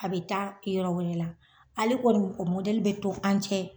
A be taa yɔrɔ wɛrɛ la. Ale kɔni be to an cɛ.